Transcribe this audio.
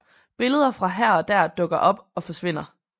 Billeder fra her og der dukker op og forsvinder